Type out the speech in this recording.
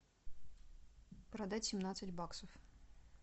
продать семнадцать баксов